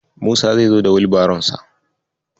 Musa zai zo da Wilbaronsa.